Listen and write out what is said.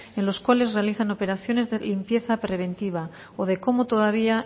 en los cuales realizan operaciones de limpieza preventiva o de cómo todavía